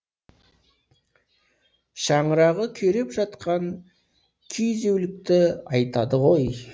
шаңырағы күйреп жатқан күйзеулікті айтады ғой